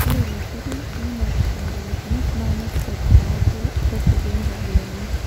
Ore ilo turur nenotito ngolikinot naa nepikaki ate rekodi enkabila enye.